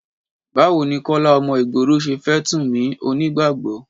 Báwo ni Kọ́lá ọmọ ìgboro ṣe fẹ́ Túnmì onígbàgbọ́?